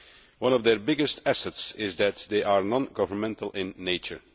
One of their biggest assets is that they are non governmental in nature.